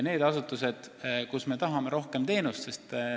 On asutusi, kus me tahame rohkem teenust.